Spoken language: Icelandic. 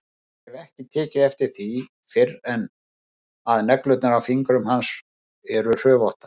Ég hef ekki tekið eftir því fyrr að neglurnar á fingrum hans eru hrufóttar.